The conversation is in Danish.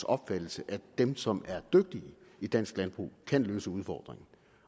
opfattelsen at dem som er dygtige i dansk landbrug kan løse udfordringerne